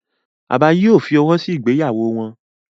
Bàbá yìí ò fọwọ́ sí ìgbéyàwó wọn.